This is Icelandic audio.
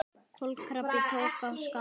Kobbi tók af skarið.